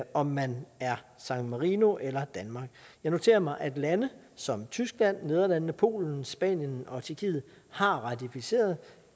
om man er san marino eller danmark jeg noterer mig at lande som tyskland nederlandene polen spanien og tjekkiet har ratificeret